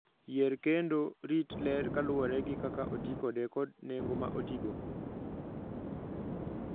Yier kendo rit ler kaluwore gi kaka oti kode kod nengo ma otigo.